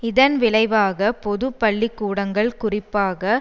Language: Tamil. இதன் விளைவாக பொது பள்ளி கூடங்கள் குறிப்பாக